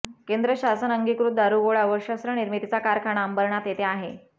केंद्रशासन अंगिकृत दारुगोळा व शस्त्र निर्मितीचा कारखाना अंबरनाथ येथे आहे